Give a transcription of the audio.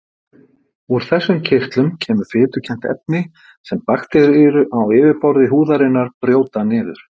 úr þessum kirtlum kemur fitukennt efni sem bakteríur á yfirborði húðarinnar brjóta niður